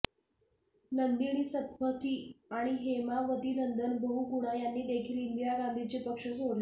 नंदिनी सत्पथी आणि हेमावती नंदन बहुगुणा यांनी देखील इंदिरा गांधीचे पक्ष सोडले